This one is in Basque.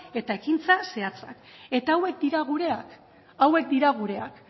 eta ekintza zehatzak eta hauek dira gureak hauek dira gureak